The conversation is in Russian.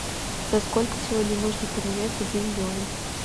за сколько сегодня можно поменять один юань